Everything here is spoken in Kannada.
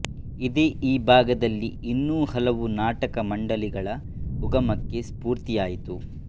ಇದೇ ಈ ಭಾಗದಲ್ಲಿ ಇನ್ನೂ ಹಲವು ನಾಟಕ ಮಂಡಳಿಗಳ ಉಗಮಕ್ಕೆ ಸ್ಫೂರ್ತಿಯಾಯಿತು